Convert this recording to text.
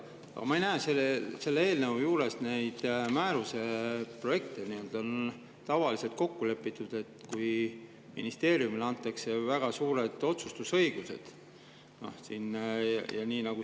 Aga ma ei näe selle eelnõu juures neid määruse projekte, nagu tavaliselt on olnud kokku lepitud, kui ministeeriumile on antud väga suur otsustusõigus ja nii.